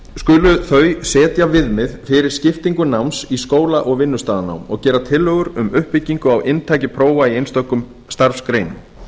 skulu þau setja viðmið fyrir skiptingu náms í skóla og vinnustaðanám og gera tillögur að uppbyggingu og inntaki prófa í einstökum starfsgreinum